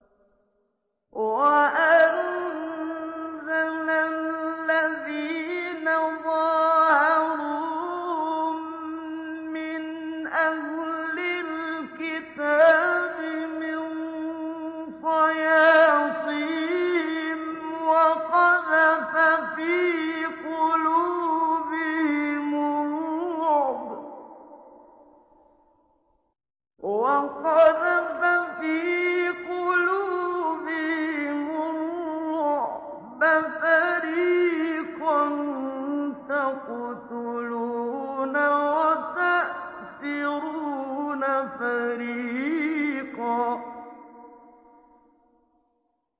وَأَنزَلَ الَّذِينَ ظَاهَرُوهُم مِّنْ أَهْلِ الْكِتَابِ مِن صَيَاصِيهِمْ وَقَذَفَ فِي قُلُوبِهِمُ الرُّعْبَ فَرِيقًا تَقْتُلُونَ وَتَأْسِرُونَ فَرِيقًا